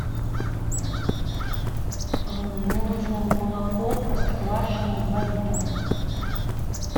мне нужно молоко простоквашино два литра